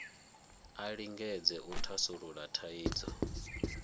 a lingedze u thasulula thaidzo